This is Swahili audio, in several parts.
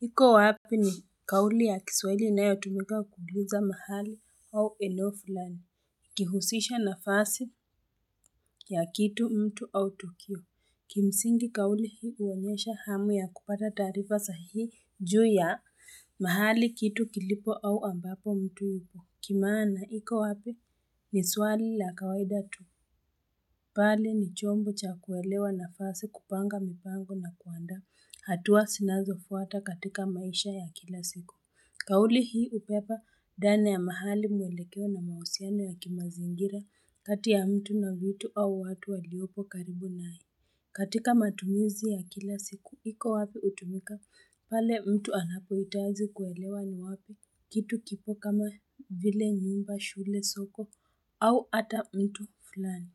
Iko wapi ni kauli ya kiswahili inayotumika kuuliza mahali au eneo fulani. Kihusisha nafasi ya kitu mtu au tukio. Kimsingi kauli hii huonyesha hamu ya kupata taarifa sahihi juu ya mahali kitu kilipo au ambapo mtu yupo. Kimaana, iko wapi ni swali la kawaida tu. Bali ni chombo cha kuelewa nafasi kupanga mipango na kuandaa hatua sinazofuata katika maisha ya kila siku. Kauli hii hupepa dana ya mahali mwelekeo na mausiano ya kimazingira kati ya mtu na vitu au watu waliopo karibu nayo. Katika matumizi ya kila siku hiko wapi utumika pale mtu anapohitaji kuelewa ni wapi kitu kipo kama vile nyumba, shule, soko au ata mtu fulani.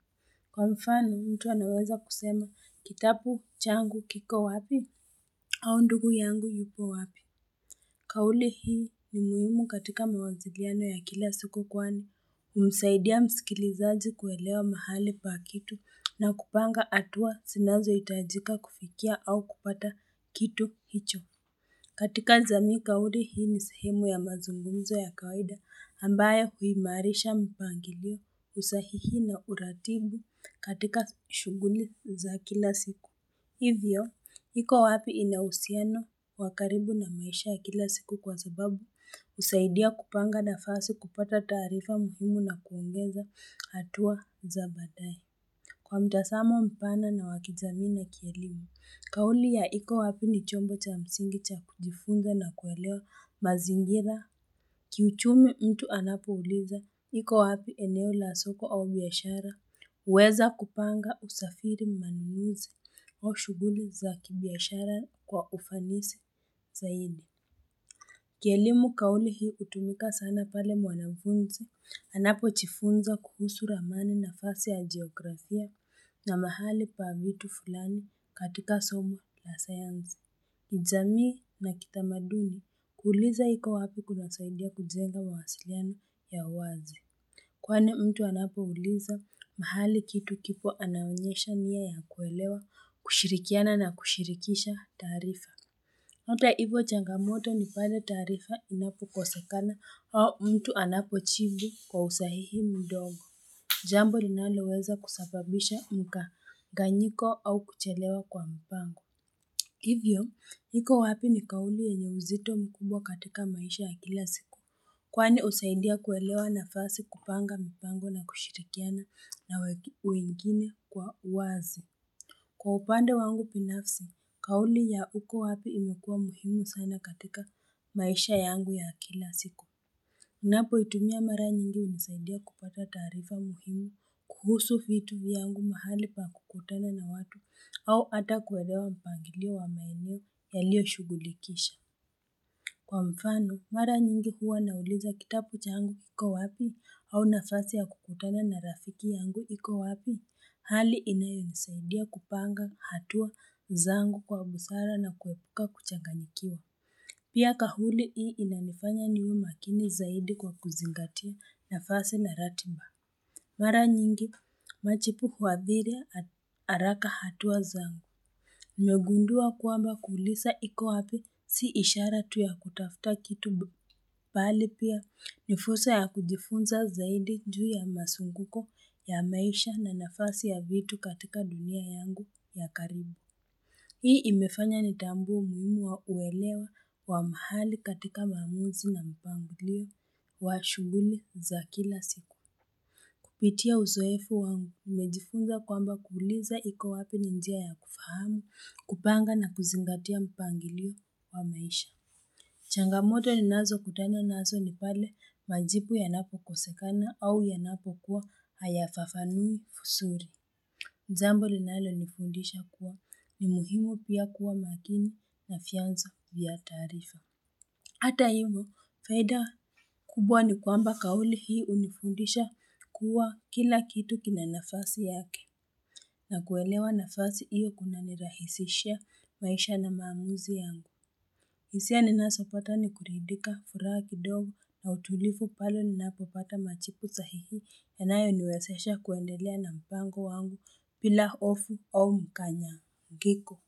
Kwa mfano, mtu anaweza kusema kitabu changu kiko wapi? Au ndugu yangu yupo wapi?. Kauli hii ni muhimu katika mawaziliano ya kila siku kwani, umemsaidia msikilizaji kuelewa mahali pa kitu na kupanga hatua sinazohitajika kufikia au kupata kitu hicho. Katika jamii kauli hii ni sehemu ya mazungumzo ya kawaida ambayo huimarisha mpangilio, usahihi na uratibu katika shughuli za kila siku. Hivyo, iko wapi inauhusiano wa karibu na maisha ya kila siku kwa sababu husaidia kupanga nafasi kupata taarifa muhimu na kuongeza hatua za baadae. Kwa mtasamo mpana na wa kijamii na kielimu, kauli ya iko wapi ni chombo cha msingi cha kujifunza na kuelewa mazingira. Kiuchumi mtu anapouliza iko wapi eneo la soko au biashara huweza kupanga usafiri manumizi au shughuli za kibiashara kwa ufanisi zaidi. Kielimu kauli hii hutumika sana pale mwanafunzi anapujifunza kuhusu ramani nafasi ya geografia na mahali pa vitu fulani katika somu la sayanzi. Kijamii na kitamaduni kuuliza hiko wapi kunasaidia kujenga mawasiliana ya uwazi. Kwani mtu anapouliza mahali kitu kipo anaonyesha nia ya kuelewa, kushirikiana na kushirikisha tarifa. Hata hivyo changamoto ni pale taarifa inapokosekana au mtu anapojibu kwa usahihi mdomo. Jambo linaloweza kusababisha mkanganyiko au kuchelewa kwa mpango. Hivyo, iko wapi ni kauli yenye mzito mkubwa katika maisha ya kila siku. Kwani husaidia kuelewa nafasi kupanga mpango na kushirikiana na wengine kwa wazi. Kwa upande wangu binafsi, kauli ya uko wapi imekua muhimu sana katika maisha yangu ya kila siku. Unapoitumia mara nyingi hunisaidia kupata taarifa muhimu kuhusu vitu vyangu mahali pa kukutana na watu au ata kuelewa mpangilio wa maeneo yalioshugulikisha. Kwa mfano, mara nyingi huwa nauliza kitapu changu iko wapi au nafasi ya kukutana na rafiki yangu iko wapi?, hali inayonisaidia kupanga hatua zangu kwa busara na kuepuka kuchanganikiwa. Pia kauli hii inanifanya niwe makini zaidi kwa kuzingatia nafasi na ratiba. Mara nyingi, majibu huadhiri haraka hatua zangu. Nimegundua kwamba kuuliza iko wapi si ishara tu ya kutafuta kitu. Bali pia ni fursa ya kujifunza zaidi juu ya mazunguko ya maisha na nafasi ya vitu katika dunia yangu ya karibu. Hii imefanya nitambue umuhimu wa kuelewa kwa mahali katika maamuzi na mpangilio wa shughuli za kila siku. Pitia uzoefu wangu umejifunza kwamba kuuliza iko wapi ni njia ya kufahamu, kupanga na kuzingatia mpangilio wa maisha. Changamoto ninazokutana nazo ni pale majibu yanapokosekana au yanapokuwa hayafafanui vizuri. Jambo linalonifundisha kuwa ni muhimu pia kuwa makini na fyanzo vya tarifa. Hata hivo, faida kubwa ni kwamba kauli hii unifundisha kuwa kila kitu kina nafasi yake na kuelewa nafasi hiyo kunanirahisishia maisha na maamuzi yangu. Hisia ninazopata ni kuridika furaha kidogo na utulifu pale ninapopata majibu sahihi yanayoniwezesha kuendelea na mpango wangu bila hofu au mkanyangiko.